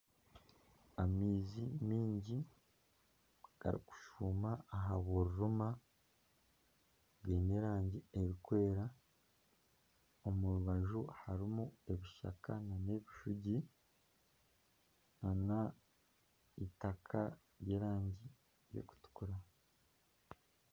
Amaizi maingi garikushuma aha bururuma, gaine erangi erikwera omu rubaju harimu ebishaka nana ebishugi nana eitaka ry'erangi erikutukura